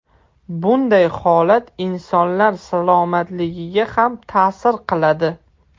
Bunday holat insonlar salomatligiga ham ta’sir qiladi.